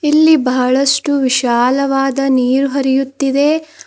ಇಲ್ಲಿ ಬಹಳಷ್ಟು ವಿಶಾಲವಾದ ನೀರು ಹರಿಯುತ್ತಿದೆ.